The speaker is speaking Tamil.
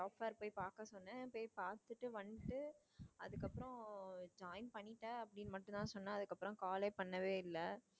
job fair போய் பாக்க சொன்னேன் போய் பாத்துட்டு வந்துட்டு அதுக்கப்புறம் join பண்ணிட்டே அப்படின்னு மட்டும் தான் சொன்னே அதுக்கப்புறம் call ஏ பண்ணவே இல்ல.